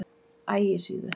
Ægissíðu